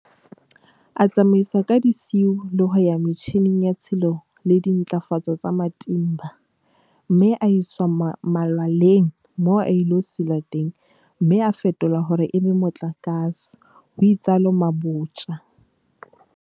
A tsamaiswa ka disiu le ho ya metjhineng ya tshilo le dintlafatso tsa Matimba, pele a iswa malwaleng moo a ilo silwa teng mme a fetolwa hore e be motlakase, ho itsalo Mabotja.